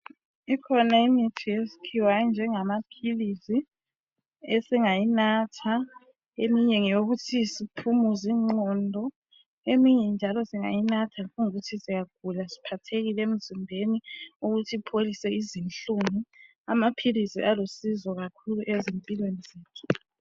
Ikhona imithi yesikhiwa enjengamaphilisi esingayinatha eminye ngeyokuthi siphumuze inqgondo eminye njalo singayinatha nxa kuyikuthi siyagula siphathekile emzimbeni ukuthi ipholise izinhlungu amaphilisi alusizo kakhulu ezimpilweni zethu.